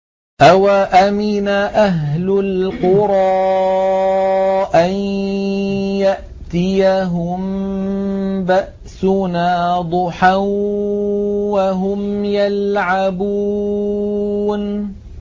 أَوَأَمِنَ أَهْلُ الْقُرَىٰ أَن يَأْتِيَهُم بَأْسُنَا ضُحًى وَهُمْ يَلْعَبُونَ